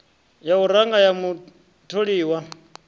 ya u ranga ya mutholiwa